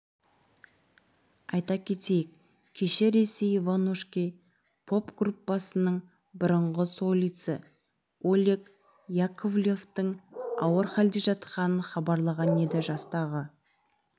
айта кетейік кеше ресей иванушки поп-группасының бұрынғы солисі олег яковлевтің ауыр халде жатқанын хабарлаған еді жастағы